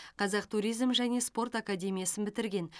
қазақ туризм және спорт академиясын бітірген